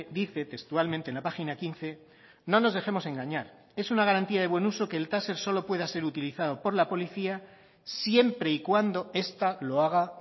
dice textualmente en la página quince no nos dejemos engañar es una garantía de buen uso que el taser solo pueda ser utilizado por la policía siempre y cuando esta lo haga